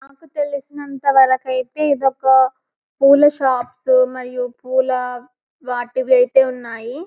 నాకు తెలిసినంతవరకు అయితే ఇది ఒక పూల షాప్స్ మరియు పూల వాటివి అయితే ఉన్నాయి --